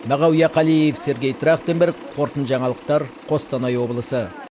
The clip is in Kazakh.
мағауия қалиев сергей трахтенберг қорытынды жаңалықтар қостанай облысы